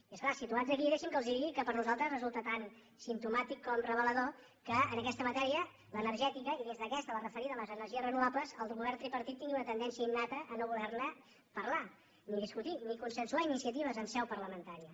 i és clar situats aquí deixi’m que els digui que per nosaltres resulta tan simp·tomàtic com revelador que en aquesta matèria l’ener·gètica i dins d’aquesta la referida a les energies reno·vables el govern tripartit tingui una tendència innata a no voler parlar ni discutir ni consensuar iniciatives en seu parlamentària